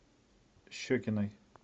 щекиной